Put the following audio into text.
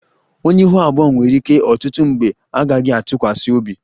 Onye ihu abụọ nwere ike ọtụtụ mgbe a gaghị atụkwasị obi